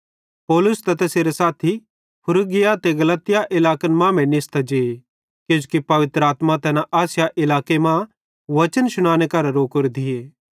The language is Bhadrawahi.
पौलुस ते तैसेरे साथी फ्रूगिया ते गलातिया इलाकन मांमेइं निस्तां जे किजोकि पवित्र आत्मा तैना आसिया इलाके मां बच्चन शुनाने करां रोकोरे थिये